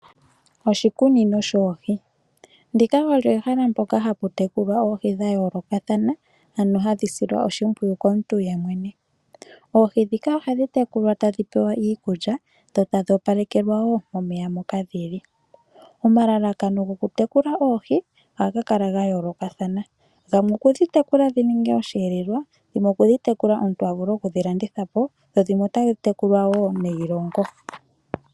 Oshikunino shoohii, ndika olyo ehala poka haputekulwa oohii dhayoloka thana ano hadhisilwa oshipwiyu komuntu yemwene, oohii dhika ohadhi tekulwa tadhipewa iikulya dho tadhi opalekelwa wo momeya moka dhili, omalalakano gokutekula oohii ohangakala ngayoloka thana, dhimwe okudhitekula dhininge oshelelwa, dhimwe okudhitekula omuntu avule oku kedhilandithapo dho dhimwe otadhitekulwa wo neyilongo.